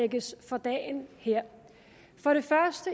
lægges for dagen her